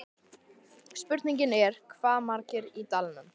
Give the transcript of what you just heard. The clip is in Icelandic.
Spurningin er, hvað verða margir í dalnum?